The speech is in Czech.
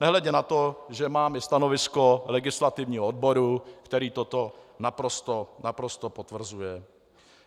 Nehledě na to, že mám i stanovisko legislativního odboru, který toto naprosto potvrzuje.